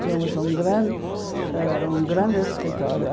Tínhamos um grande ãh um grande escritório.